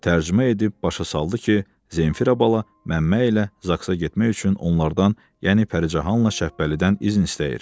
Tərcümə edib başa saldı ki, Zenfira bala Məmmə ilə Zaksa getmək üçün onlardan, yəni Pəricanla Şəhbəlidən izin istəyir.